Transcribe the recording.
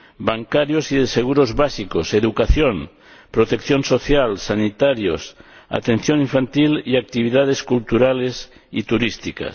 bancarios y de seguros básicos, educación, protección social, sanitarios, atención infantil y actividades culturales y turísticas.